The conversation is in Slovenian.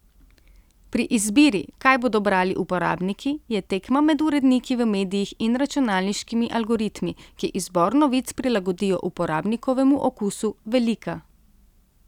Pri izbiri, kaj bodo brali uporabniki, je tekma med uredniki v medijih in računalniškimi algoritmi, ki izbor novic prilagodijo uporabnikovemu okusu, velika.